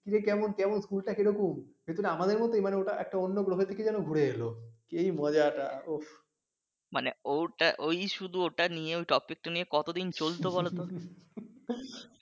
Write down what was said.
কিরে কেমন? কেমন স্কুল টা কীরকম? ওটা কি আমাদের মতই মানে ওটা অন্য একটা গ্রহ থেকে যেন ঘুরে এলো ওফস এই মজাটা ওই শুধু ওটা নিয়ে মানে ওই topic টা নিয়ে কতদিন চলতো বলতো